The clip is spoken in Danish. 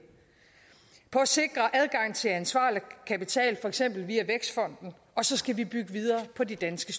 på at sikre adgang til ansvarlig kapital for eksempel via vækstfonden og så skal vi bygge videre på de danske